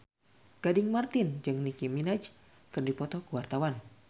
Gading Marten jeung Nicky Minaj keur dipoto ku wartawan